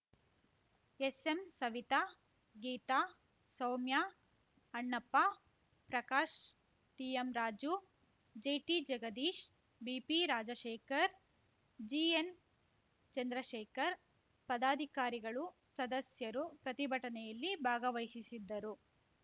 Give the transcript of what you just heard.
S M Savita Geeta Soumya Annappa Prakash TM Raju JT Jagadish BP Rajashekar GN Chandrashekar ಪದಾಧಿಕಾರಿಗಳು ಸದಸ್ಯರು ಪ್ರತಿಭಟನೆಯಲ್ಲಿ ಭಾಗವಹಿಸಿದ್ದರು